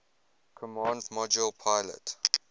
command module pilot